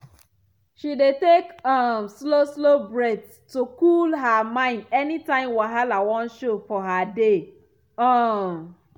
she dey take um slow slow breath to cool her mind anytime wahala wan show for her day. um